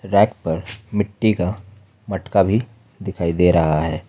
Bank पर मिट्टी का मटका भी दिखाई दे रहा है।